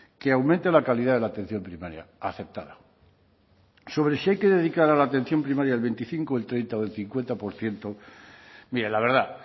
que aumente la calidad de la atención primaria aceptada sobre si hay que dedicar a la atención primaria el veinticinco el treinta o el cincuenta por ciento mire la verdad